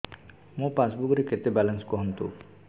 ମୋ ପାସବୁକ୍ ରେ କେତେ ବାଲାନ୍ସ କୁହନ୍ତୁ